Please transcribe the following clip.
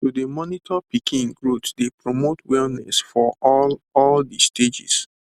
to dey monitor pikin growth dey promote wellness for all all de stages